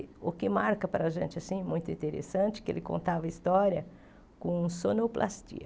O que marca para a gente assim, muito interessante, é que ele contava história com sonoplastia.